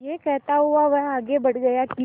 यह कहता हुआ वह आगे बढ़ गया कि